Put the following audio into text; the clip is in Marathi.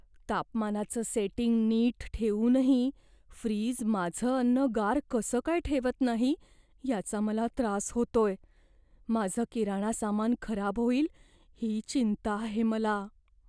तापमानाचं सेटिंग नीट ठेवूनही फ्रीज माझं अन्न गार कसं काय ठेवत नाही याचा मला त्रास होतोय माझं किराणा सामान खराब होईल ही चिंता आहे मला.